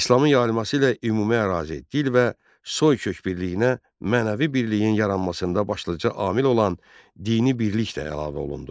İslamın yayılması ilə ümumi ərazi, dil və soykök birliyinə, mənəvi birliyin yaranmasında başlıca amil olan dini birlik də əlavə olundu.